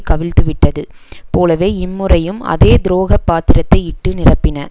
கவிழ்த்துவிட்டது போலவே இம்முறையும் அதே துரோகப் பாத்திரத்தை இட்டு நிரப்பின